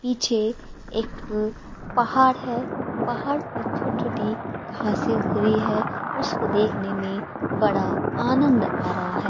पीछे एक पहाड़ है पहाड़ पर छोटी छोटी घासे उग रही है उसको देखने में बड़ा आनंद आ रहा है।